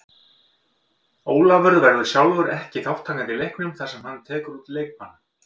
Ólafur verður sjálfur ekki þátttakandi í leiknum þar sem hann tekur út leikbann.